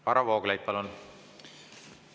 Varro Vooglaid, palun!